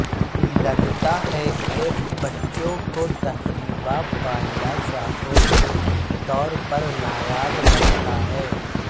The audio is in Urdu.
لگتا ہے کہ بچوں کو تقریبا پانڈا شاخوں کے طور پر نایاب لگتا ہے